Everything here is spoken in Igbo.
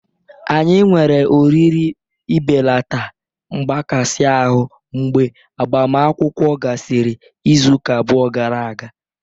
Anyị nwere oriri ibelata mgbakasị ahụ mgbe agbamakwụkwọ gasịrị izu abụọ gara aga.